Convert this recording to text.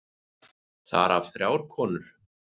Þar af þrjár konur.